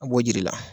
A b'o jiri la